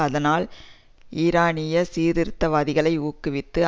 அதனால் ஈரானியச் சீர்திருத்தவாதிகளை ஊக்குவித்து